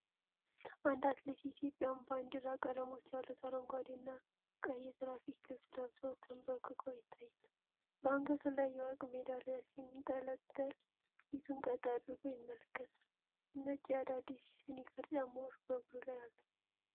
አንድ አትሌት የኢትዮጵያን ባንዲራ ቀለሞች ያሉት አረንጓዴና ቀይ የትራክ ልብስ ለብሶ ተንበርክኮ ይታያል። በአንገቱ ላይ የወርቅ ሜዳሊያ ሲንጠለጠል፣ ፊቱን ቀጥ አድርጎ ይመለከታል። ነጭ የአዲዳስ ስኒከር ጫማዎች በእግሩ ላይ አሉ።